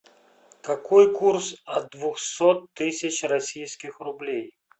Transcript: какой курс от двухсот тысяч российских рублей